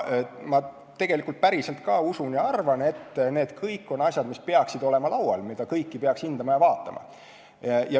Tegelikult ma päriselt usun ja arvan, et need on kõik asjad, mida peaks hindama ja vaatama.